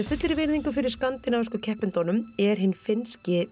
fullri virðingu fyrir skandinavísku keppendunum er hinn finnski